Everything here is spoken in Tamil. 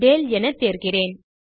டேல் என தேர்கிறேன்